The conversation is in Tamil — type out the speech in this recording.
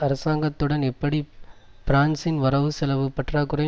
அரசாங்கத்துடன் எப்படி பிரான்சின் வரவுசெலவு பற்றாக்குறை